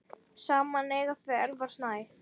Saman eiga þau Elvar Snæ.